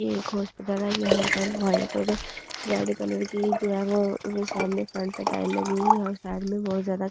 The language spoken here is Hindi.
ये एक हॉस्पिटल है यहाँ पर वाइट और रेड कलर की जो है वो सामने फ्रन्ट पे टाइल लगी हुई है और साइड में बहुत ज़्यादा खिड़कियाँ है।